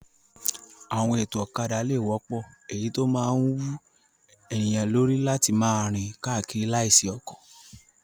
Àwọn ètò ọ̀kadà lè wọ́pọ̀, èyí tó máa wú ènìyàn lórí láti máa rìn káàkiri láìsí ọkọ̀.